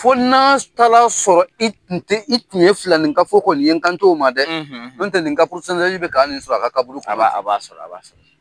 Fo n'a taa la sɔrɔ i tun tɛ, i tun ye filanninka fɔ kɔni ye n kanto o ma dɛ n tɛ nin ka purusantazi bɛ ka nin sɔrɔ a ka kaburu kɔnɔ. A b'a sɔrɔ, a b'a sɔrɔ.